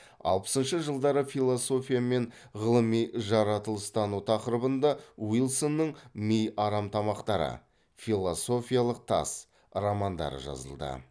алпысыншы жылдары философия мен ғылыми жаратылыстану тақырыбына уилсонның ми арамтамақтары философиялық тас романдары жазылды